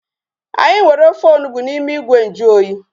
Anyị nwere ofe onugbu n'ime ìgwè nju oyi